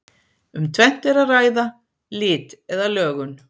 Um tvennt er að ræða: Lit eða lögun.